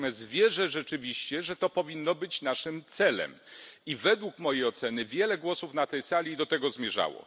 Natomiast wierzę rzeczywiście, że to powinno być naszym celem i według mojej oceny wiele głosów na tej sali do tego zmierzało.